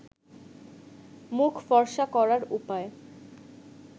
মুখ ফর্সা করার উপায়